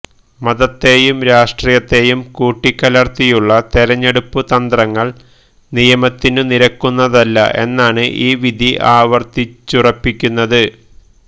മതത്തെയും രാഷ്ട്രീയത്തെയും കൂട്ടിക്കലർത്തിയുള്ള തെരഞ്ഞെടുപ്പ് തന്ത്രങ്ങൾ നിയമത്തിനു നിരക്കുന്നതല്ല എന്നാണ് ഈ വിധി ആവർത്തിച്ചുറപ്പിക്കുന്നത്